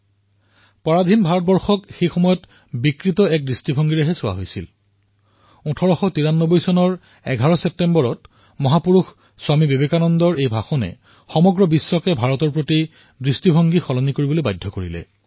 যি গুলাম ভাৰতৰ প্ৰতি বিশ্বই বিকৃত মনোভাৱে চাইছিল সেই বিশ্বক ১১ ছেপ্টেম্বৰ ১৮৯৩ চনত স্বামী বিবেকানন্দৰ দৰে মহাপুৰুষৰ শব্দই বিশ্বক ভাৰতৰ প্ৰতি দৃষ্টিভংগী পৰিৱৰ্তন কৰিবলৈ বাধ্য কৰি তুলিছিল